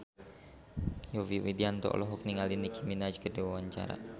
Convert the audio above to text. Yovie Widianto olohok ningali Nicky Minaj keur diwawancara